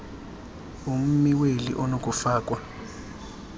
ummi weli onokufakwa